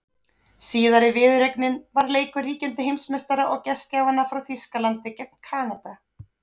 Síðari viðureignin var leikur ríkjandi heimsmeistara og gestgjafanna frá Þýskalandi gegn Kanada.